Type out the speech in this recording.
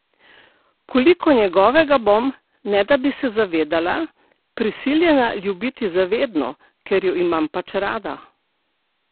Koliko njegovega bom, ne da bi se zavedala, prisiljena ljubiti za vedno, ker ju imam pač rada?